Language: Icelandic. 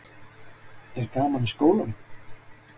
Sunna: Er gaman í skólanum?